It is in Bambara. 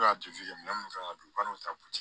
minɛn minnu kan ka don u ka n'u ta butigi